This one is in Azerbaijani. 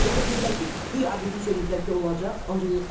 Özü də dedilər ki, guya eləyiblər ki, olacaq, ancaq yoxdur.